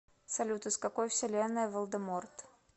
салют из какой вселенной волдеморт